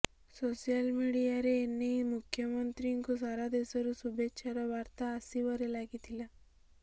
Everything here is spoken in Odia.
ସୋସିଆଲ ମିଡ଼ିଆରେ ଏନେଇ ମୁଖ୍ୟମନ୍ତ୍ରୀଙ୍କୁ ସାରା ଦେଶରୁ ଶୁଭେଚ୍ଛାର ବାର୍ତ୍ତା ଆସିବାରେ ଲାଗିଥିଲା